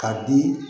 Ka di